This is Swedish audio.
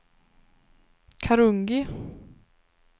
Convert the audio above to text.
Karungi